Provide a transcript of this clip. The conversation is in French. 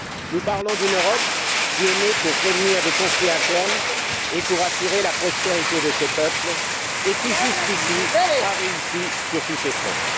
Nous parlons d'une Europe née pour prévenir des conflits internes et pour assurer la prospérité de ses peuples, et qui, jusqu'ici, a réussi sur tous ces fronts.